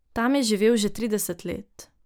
Tam je živel že trideset let.